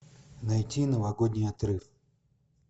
найти новогодний отрыв